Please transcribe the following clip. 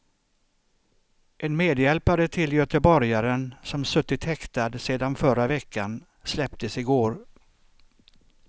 En medhjälpare till göteborgaren som suttit häktad sedan förra veckan släpptes i går.